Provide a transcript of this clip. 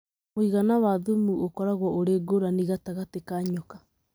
Mũigana wa thumu ũkoragwo ũrĩ ngũrani gatagatĩ ka nyoka.